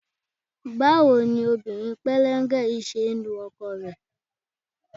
Báwo ni obìnrin pẹ́lẹ́ńgẹ yìí ṣe ń lu ọkọ rẹ?